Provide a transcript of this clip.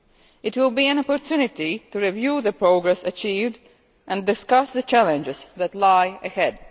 It will be an opportunity to review the progress achieved and discuss the challenges that lie ahead.